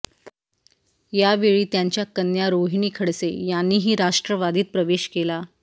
यावेळी त्यांच्या कन्या रोहिणी खडसे यांनीही राष्ट्रवादीत प्रवेश केला